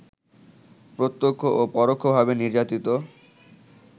প্রত্যক্ষ ও পরোক্ষভাবে নির্যাতিত